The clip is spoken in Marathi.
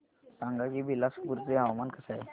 सांगा की बिलासपुर चे हवामान कसे आहे